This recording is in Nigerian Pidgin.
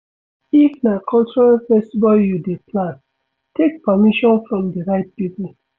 If na cultural festival you dey plan, take permission from di right pipo